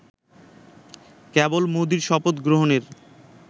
কেবল মোদির শপথ গ্রহণের